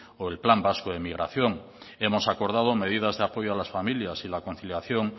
o el plan vasco de migración hemos acordado medidas de apoyo a las familias y la conciliación